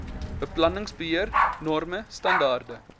beplanningsbeheer norme standaarde